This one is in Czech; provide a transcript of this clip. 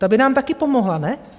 Ta by nám taky pomohla, ne?